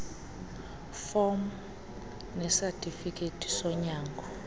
fom nesatifikethi sonyango